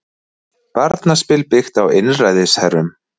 Barnaspil byggt á einræðisherrum